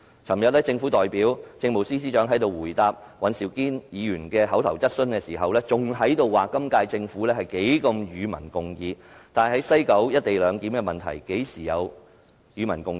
昨天，政府代表政務司司長在這裏答覆尹兆堅議員的口頭質詢時仍表示，今屆政府樂於與民共議，但在西九龍站"一地兩檢"的問題上，何時曾與民共議？